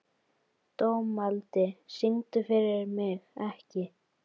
Dómaldi, syngdu fyrir mig „Ekki“.